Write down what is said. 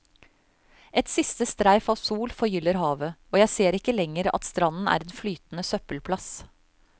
Et siste streif av sol forgyller havet, og jeg ser ikke lenger at stranden er en flytende søppelplass.